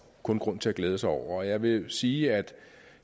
kun grund til at glæde sig over jeg vil sige at